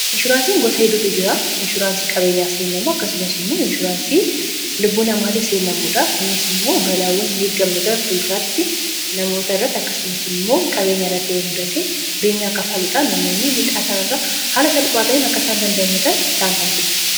inshuraansiin gosa hidootu jiraa inshuraansii qabeenyaaf seennamoo akkasumas immoo inshuraansii lubbuu namaatif seennamoodha kuniis immoo balaawwan hin heggamne gara fuluraatti namoota irratti akkasumas immoo qabeenyaa irrattiamudate beenyaa kaffaluudhaan namoommii midhaasaan irra haala salphaatany akkasaan dandaamatan isaan taasisa